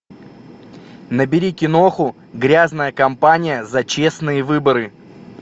набери киноху грязная компания за честные выборы